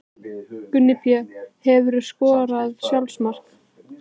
Gunni Pé Hefurðu skorað sjálfsmark?